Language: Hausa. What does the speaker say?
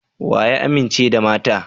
Wa ya amince da mata?